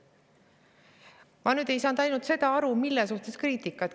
Ma ei saanud ainult sellest aru, mille suhtes kriitikat.